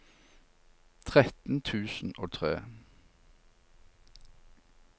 tretten tusen og tre